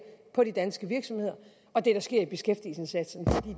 på de danske virksomheder og det der sker